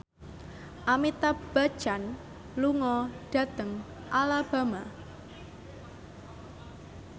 Amitabh Bachchan lunga dhateng Alabama